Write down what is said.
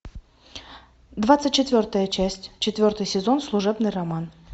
двадцать четвертая часть четвертый сезон служебный роман